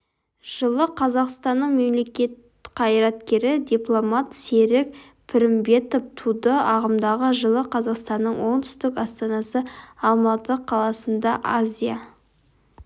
жылы қазақстанның мемлекет қайраткері дипломат серік пірімбетов туды ағымдағы жылы қазақстанның оңтүстік астанасы алматы қаласында азия